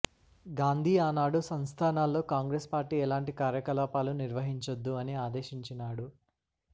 గాంధీ ఆనాడు సంస్థానాల్లో కాంగ్రెస్ పార్టీ ఎలాంటి కార్యకలాపాలు నిర్వహించొద్దు అని ఆదేశించినాడు